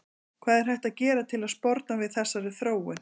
hvað er hægt að gera til að sporna við þessari þróun